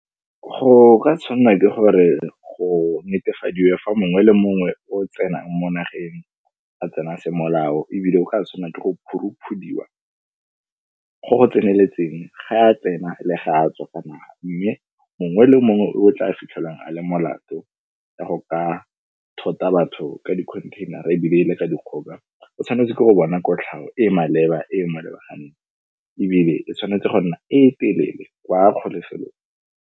Go ka tshwanna ke gore go netefadiwe fa mongwe le mongwe o tsenang mo nageng, a tsena se molao ebile o ka tshwanna ke go phuruphudiwa go go tseneletseng ga a tsena le ga a tswa, ka naga mme mongwe le mongwe o tla fitlhelwang a le molato ka go ka thota batho ka dikhontheinara ebile le ka dikgoka, o tshwanetse ke go bona kotlhao e e maleba, e e molebaganeng ebile e tshwanetse go nna e telele kwa kgolegelong.